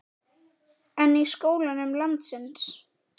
En í skólum landsins?